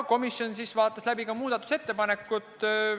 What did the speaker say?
Komisjon vaatas läbi ka muudatusettepanekud.